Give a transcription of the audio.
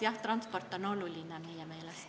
Jah, transport on oluline meie meelest.